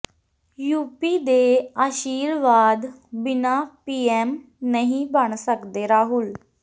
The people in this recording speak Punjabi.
ਯੂਪੀ ਦੇ ਆਸ਼ੀਰਵਾਦ ਬਿਨ੍ਹਾਂ ਪੀਐਮ ਨਹੀਂ ਬਣ ਸਕਦੇ ਰਾਹੁਲ